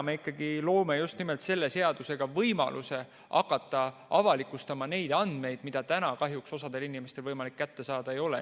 Me ikkagi loome just nimelt selle seadusega võimaluse hakata avalikustama neid andmeid, mida täna kahjuks osal inimestel ei ole võimalik kätte saada.